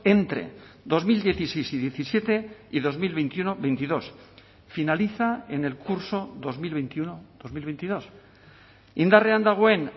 entre dos mil dieciséis y diecisiete y dos mil veintiuno veintidós finaliza en el curso dos mil veintiuno dos mil veintidós indarrean dagoen